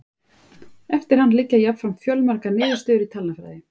Eftir hann liggja jafnframt fjölmargar niðurstöður í talnafræði.